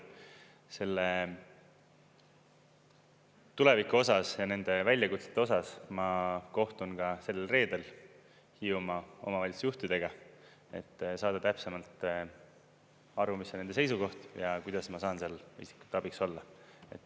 Selle tuleviku osas ja nende väljakutsete osas ma kohtun ka sel reedel Hiiumaa omavalitsusjuhtidega, et saada täpsemalt aru, mis on nende seisukoht ja kuidas ma saan seal abiks olla.